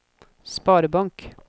sparebank